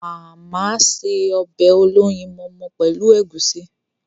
Màmá se ọbẹ̀ olóyinmọmọ pẹ́lu ègúsi..